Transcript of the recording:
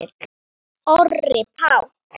Orri Páll.